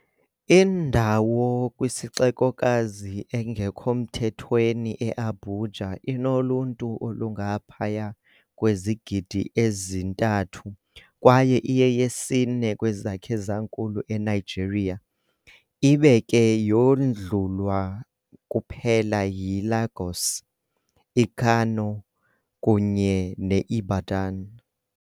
Indawo kwisixekokazi engekho mthethweni eAbuja inoluntu olungaphaya kwezigidi ezintathu kwaye iyeyesine kwezakhe zankulu eNigeria, ibe ke yodlulwa kuphela yiLagos, iKano kunye neIbadan.